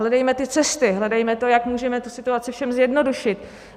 Hledejme ty cesty, hledejme to, jak můžeme tu situaci všem zjednodušit.